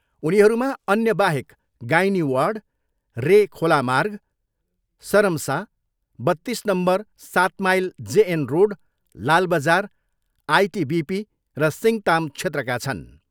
उनीहरूमा अन्यबाहेक gynae ward, रे खोला मार्ग, सरमसा, बत्तिस नम्बर सात mile J N road, Lalbazar, ITBP र सिङ्ताम क्षेत्रका छन्।